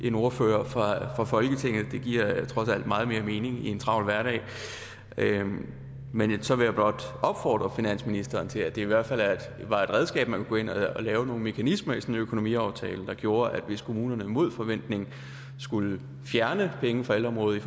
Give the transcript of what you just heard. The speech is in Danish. en ordfører fra folketinget det giver trods alt meget mere mening i en travl hverdag men så vil jeg blot opfordre finansministeren til at det i hvert fald var et redskab at man kunne gå ind og lave nogle mekanismer i sådan en økonomiaftale der gjorde at hvis kommunerne mod forventning skulle fjerne penge fra ældreområdet